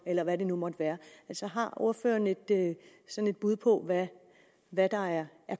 eller hvad det nu måtte være altså har ordføreren et bud på hvad der er